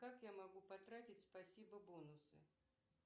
как я могу потратить спасибо бонусы